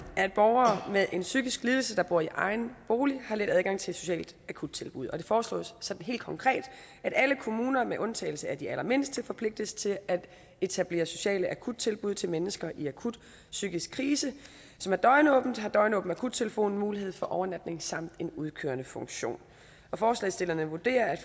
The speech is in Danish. at borgere med en psykisk lidelse der bor i egen bolig har let adgang til et socialt akuttilbud og det foreslås sådan helt konkret at alle kommuner med undtagelse af de allermindste forpligtes til at etablere sociale akuttilbud til mennesker i akut psykisk krise som har døgnåbent og har døgnåben akuttelefon mulighed for overnatning samt en udkørende funktion forslagsstillerne vurderer at